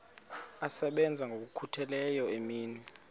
asebenza ngokokhutheleyo imini